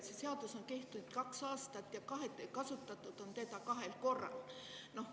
See seadus on kehtinud kaks aastat ja kasutatud on seda kahel korral.